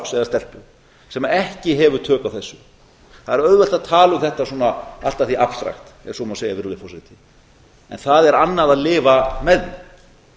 eða stelpu sem ekki hefur tök á þessu það er auðvelt að tala um þetta svona allt að því abstrakt ef svo má segja virðulegi forseti en það er annað að lifa með því